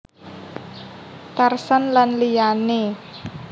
Tarsan lan liyané